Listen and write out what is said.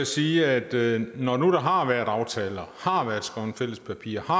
sige at når der nu har været aftaler har været skrevet fælles papirer har